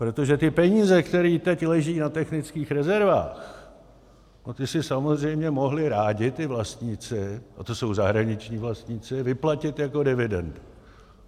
Protože ty peníze, které teď leží na technických rezervách, ty si samozřejmě mohli rádi ti vlastníci, a to jsou zahraniční vlastníci, vyplatit jako dividendy.